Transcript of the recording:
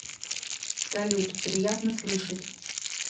салют приятно слышать